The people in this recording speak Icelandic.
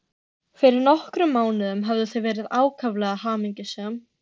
Fyrir nokkrum mánuðum höfðu þau verið ákaflega hamingjusöm.